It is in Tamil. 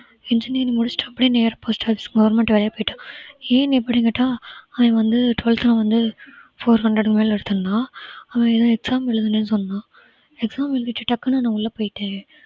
engineering முடிச்சுட்டு அப்படியே நேரா post office government வேலையா போயிட்டான் ஏன் இப்படின்னு கேட்டா அவன் வந்து twelfth ல வந்து four hundred க்கு மேல எடுத்திருந்தான் அவன் ஏதோ exam எழுதனேன்னு சொன்னான் exam எழுதிட்டு டக்குன்னு நான் உள்ள போயிட்டேன்